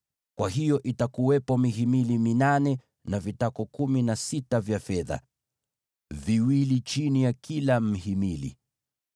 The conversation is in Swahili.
Kwa hiyo itakuwepo mihimili minane, na vitako kumi na sita vya fedha, viwili chini ya kila mhimili.